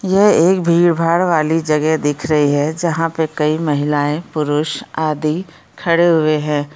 ये एक भीड़-भाड़ वाली जगह दिख रही है जहाँ पे कई महिलाएं पुरुष आदि खड़े हुए हैं।